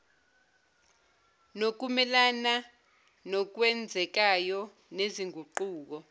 nokumelana nokwenzekayo nezinguquko